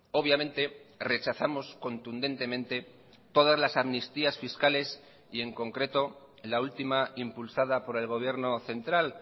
obviamente rechazamos contundentemente todas las amnistías fiscales y en concreto la última impulsada por el gobierno central